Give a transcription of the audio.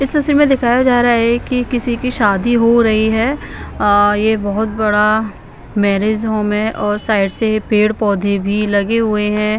इस तस्वीर में दिखाया जा रहा है कि किसी की शादी हो रही है अ ये बहोत बड़ा मैरिज होम है और साइड से पेड़ पौधे भी लगे हुए हैं.